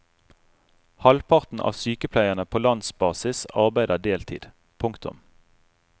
Halvparten av sykepleierne på landsbasis arbeider deltid. punktum